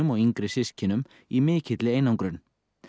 og yngri systkinum í mikilli einangrun